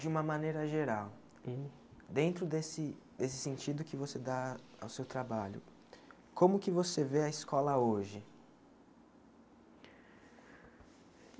De uma maneira geral, Uhum dentro desse desse sentido que você dá ao seu trabalho, como que você vê a escola hoje?